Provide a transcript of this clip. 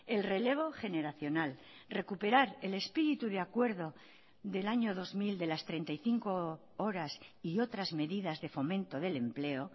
el relevo generacional recuperar el espíritu de acuerdo del año dos mil de las treinta y cinco horas y otras medidas de fomento del empleo